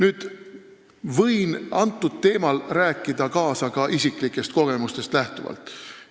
Ma võin sellel teemal rääkida kaasa ka isiklikest kogemustest lähtuvalt.